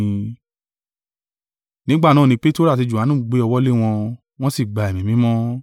Nígbà náà ni Peteru àti Johanu gbé ọwọ́ lé wọn, wọn sí gba Ẹ̀mí Mímọ́.